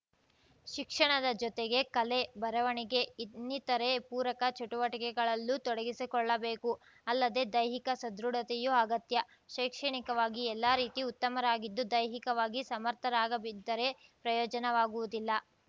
ಶಿಕ್ಷಣದ ಜೊತೆಗೆ ಕಲೆ ಬರವಣಿಗೆ ಇನ್ನಿತರೆ ಪೂರಕ ಚಟುವಟಿಕೆಗಳಲ್ಲೂ ತೊಡಗಿಸಿಕೊಳ್ಳಬೇಕು ಅಲ್ಲದೆ ದೈಹಿಕ ಸದೃಢತೆಯೂ ಅಗತ್ಯ ಶೈಕ್ಷಣಿಕವಾಗಿ ಎಲ್ಲರೀತಿ ಉತ್ತಮರಾಗಿದ್ದು ದೈಹಿಕವಾಗಿ ಸಮರ್ಥರಾಗಬಿದ್ದರೆ ಪ್ರಯೋಜನವಾಗುವುದಿಲ್ಲ